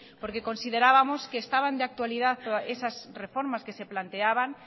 porque considerábamos que estaban de actualidad esas reformas que se planteaban